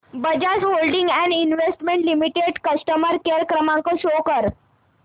Bajaj holdings and investment limited customer care क्रमांक show कर